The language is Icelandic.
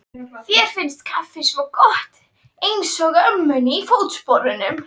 Þér finnst kaffi svo gott, einsog ömmunni í Fótsporunum.